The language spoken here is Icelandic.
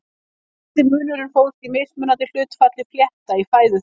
Helsti munurinn fólst í mismunandi hlutfalli flétta í fæðu þeirra.